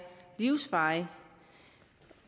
livsvarig